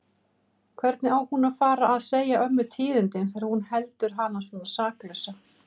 Hvernig á hún að fara að segja ömmu tíðindin þegar hún heldur hana svona saklausa?